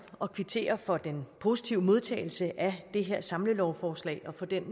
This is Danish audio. at kvittere for den positive modtagelse af det her samlelovforslag og for den